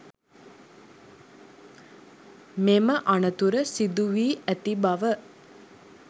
මෙම අනතුර සිදු වී ඇති බව